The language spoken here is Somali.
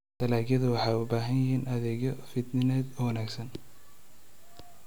Dalagyadu waxay u baahan yihiin adeegyo fidineed oo wanaagsan.